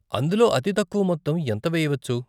అందులో అతి తక్కువ మొత్తం ఎంత వేయవచ్చు?